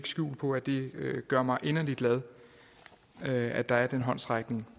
skjul på at det gør mig inderligt glad at der er den håndsrækning